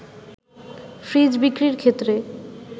fridge বিক্রির ক্ষেত্রে